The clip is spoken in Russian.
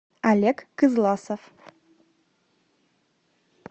олег кызласов